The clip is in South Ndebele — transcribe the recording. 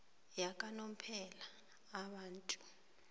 yakanomphela abantu